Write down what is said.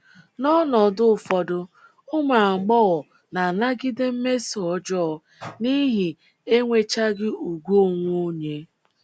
N’ọnọdụ ụfọdụ, ụmụ agbọghọ na - anagide mmeso ọjọọ n’ihi enwechaghị ùgwù onwe onye.